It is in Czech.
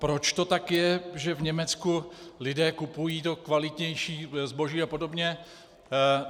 Proč to tak je, že v Německu lidé kupují to kvalitnější zboží a podobně?